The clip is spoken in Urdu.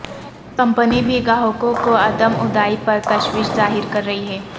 کمپنی بھی گاہکو ں کوعدم ادائی پر تشویش ظاہر کررہی ہے